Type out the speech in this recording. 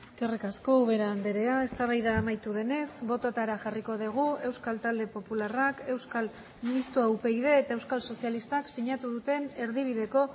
eskerrik asko ubera andrea eztabaida amaitu denez bototara jarriko dugu euskal talde popularrak euskal mistoa upyd eta euskal sozialistak sinatu duten erdibideko